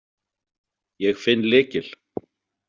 Ég finn lykil.